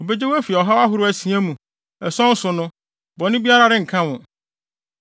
Obegye wo afi ɔhaw ahorow asia mu; ason so no, bɔne biara renka wo.